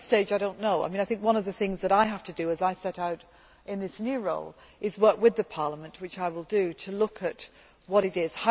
At this stage, I do not know. I think one of the things that I have to do as I set out in this new role is work with Parliament, which I will do, to look at what it is.